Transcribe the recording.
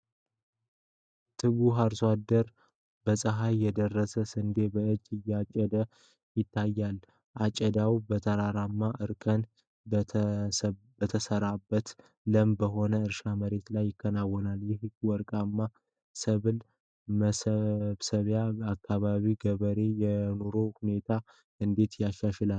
ትጉህ አርሶ አደር በፀሐይ የደረሰ ስንዴ በእጁ እያጨደ ይታያል። አጨዳው በተራራማ፣ እርከን በተሰራበትና ለም በሆነ የእርሻ መሬት ላይ ይከናወናል። ይህ ወርቃማ ሰብል መሰብሰብ የአካባቢውን ገበሬዎች የኑሮ ሁኔታ እንዴት ያሻሽላል?